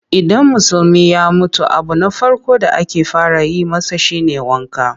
Idan Musulmi ya mutu abu na farko da ake fara yi masa shi ne wanka.